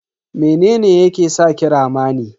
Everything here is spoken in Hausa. Mene ne yake saki rama ne?